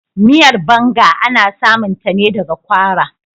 Miyar" banga " ana samun ta ne daga kwara.